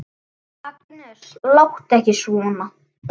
Agnes, láttu ekki svona!